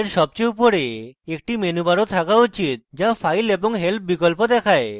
এর সবচেয়ে উপরে একটি মেনুবারও থাকা উচিত যা file এবং help বিকল্প দেখায়